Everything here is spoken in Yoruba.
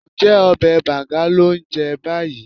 Ǹjẹ́ ọbẹ̀ bàǹga lò ń jẹ báyìí?